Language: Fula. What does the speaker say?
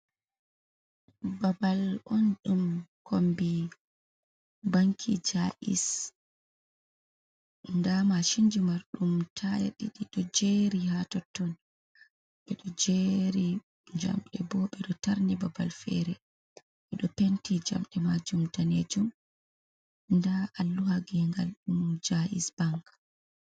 Babal on ɗum kombi banki jais. Nda machinji mar ɗum taya ɗiɗi ɗo jeri ha totton, ɓeɗo jeri jamɗe bo ɓeɗo tarni babal fere, ɓeɗo penti jamɗe majum danejum nda alluha gengal ɗum jais bank.